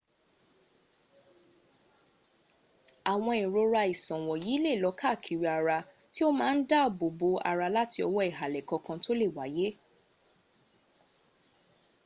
awon irora isan wonyi le lo kaakiri ara ti o ma n daabo bo ara lati owo ihale kankan to le waye